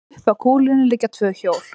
upp að kúlunni liggja tvö hjól